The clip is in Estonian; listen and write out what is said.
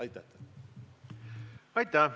Aitäh!